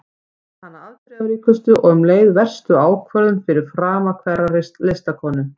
Kallar hana afdrifaríkustu og um leið verstu ákvörðun fyrir frama hverrar listakonu.